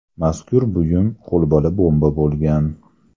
Mazkur buyum qo‘lbola bomba bo‘lgan.